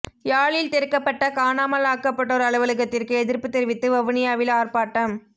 யாழில் திறக்கப்பட்ட காணாமல் ஆக்கப்பட்டோர் அலுவலகத்திற்கு எதிர்ப்புத் தெரிவித்து வவுனியாவில் ஆர்ப்பாட்டம்